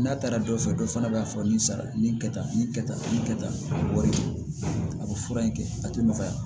N'a taara dɔ fɛ dɔ fana b'a fɔ nin sara nin kɛ tan nin kɛ tan nin kɛ tan a bɛ wari bɔ a bɛ fura in kɛ a tɛ nɔgɔya